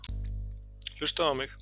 Hlustaðu á mig!